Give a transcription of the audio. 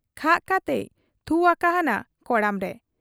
ᱠᱷᱟᱜ ᱠᱟᱛᱮᱭ ᱛᱷᱩ ᱟᱠᱟᱦᱟᱱᱟ ᱠᱚᱲᱟᱢ ᱨᱮ ᱾